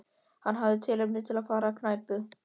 Hann hafði tilefni til að fara á knæpu.